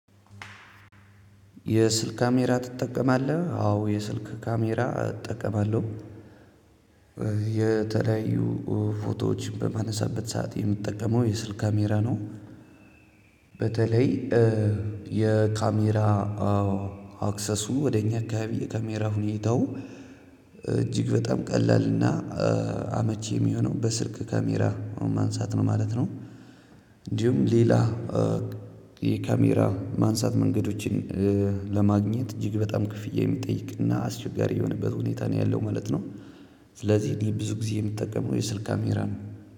የስልክ ካሜራ ትጠቀማለህ? አዎ የስልክ ካሜራ እጠቀማለሁ። የተለያዩ ፎቶዎች በማነሳበት ሰዓት የምጠቀመው የስልክ ካሜራ ነው። በተለይ- የካሜራ አክሰሱ ወደኛ አካባቢ የካሜራ ሁኔታው እጅግ በጣም ቀላል ና አመች የሚሆነው በስልክ ካሜራ ማንሳት ነው ማለት ነው። እንዲሁም ሌላ- የካሜራ ማንሳት መንገዶችን ለማግኘት እጅግ በጣም ክፍያ የሚጠይቅ ና አስቸጋሪ የሆነበት ሁኔታ ነው ያለው ማለት ነው። ስለዚህ እኔ ብዙ ጊዜ የምጠቀመው የስልክ ካሜራ ነው።